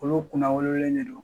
Olu kunna wolole de don